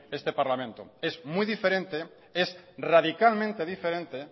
este parlamento es muy diferente es radicalmente diferente